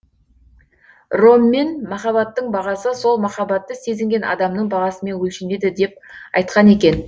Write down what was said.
роммен махабаттың бағасы сол махаббатты сезінген адамның бағасымен өлшенеді деп айтқан екен